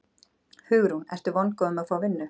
Hugrún: Ertu vongóður um að fá vinnu?